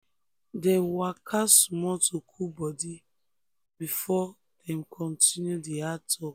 dem waka small to cool body before um dem continue di hard talk.